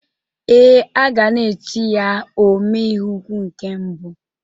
Ee, a ga na-eti ya "Ome ihe ukwu nke mbụ"